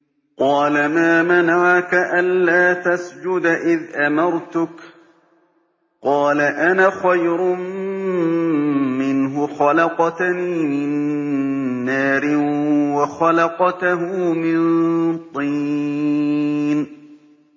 قَالَ مَا مَنَعَكَ أَلَّا تَسْجُدَ إِذْ أَمَرْتُكَ ۖ قَالَ أَنَا خَيْرٌ مِّنْهُ خَلَقْتَنِي مِن نَّارٍ وَخَلَقْتَهُ مِن طِينٍ